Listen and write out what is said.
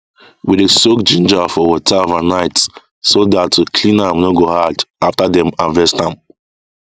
we dey soak ginger for water overnight so that to clean am no go hard after dem harvest am